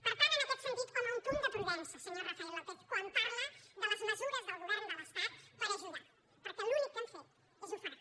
per tant en aquest sentit home un punt de prudència senyor rafael lópez quan parla de les mesures del govern de l’estat per ajudar perquè l’únic que han fet és ofegar